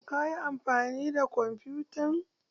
Kayi amfani da kwamfutan?